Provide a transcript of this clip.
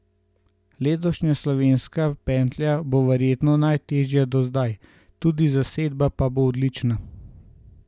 Letošnja slovenska pentlja bo verjetno najtežja do zdaj, tudi zasedba pa bo odlična.